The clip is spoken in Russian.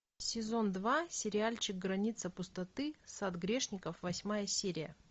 сезон два сериальчик граница пустоты сад грешников восьмая серия